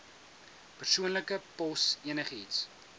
persoonlike pos enigiets